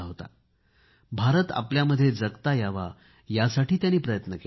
आपल्यामध्येच भारत जगण्याचा त्यांनी प्रयत्न केला